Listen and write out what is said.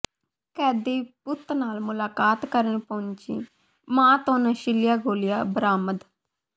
ਕੈਦੀ ਪੁੱਤ ਨਾਲ ਮੁਲਾਕਾਤ ਕਰਨ ਪੁੱਜੀ ਮਾਂ ਤੋਂ ਨਸ਼ੀਲੀਆਂ ਗੋਲੀਆਂ ਬਰਾਮਦ